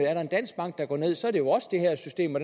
er en dansk bank der går ned så er det jo også det her system og